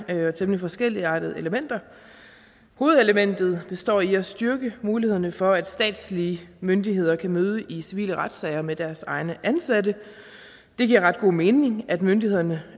række temmelig forskelligartede elementer hovedelementet består i at styrke muligheden for at statslige myndigheder kan møde i civile retssager med deres egne ansatte det giver ret god mening at myndighederne